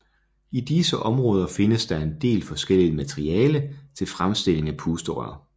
I disse områder findes der en del forskelligt materiale til fremstilling af pusterør